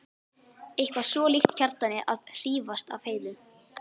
Eitthvað svo líkt Kjartani að hrífast af Heiðu.